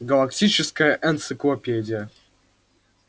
галактическая энциклопедия